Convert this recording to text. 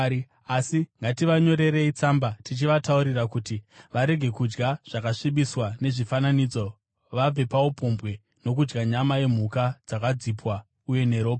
Asi ngativanyorerei tsamba tichivataurira kuti varege kudya zvakasvibiswa nezvifananidzo, vabve paupombwe, nokudya nyama yemhuka dzakadzipwa, uye neropa.